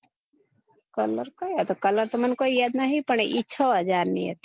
colour કયો હતો colour તો મને કઈ યાદ નહિ પણ એ છ હજાર ની હતી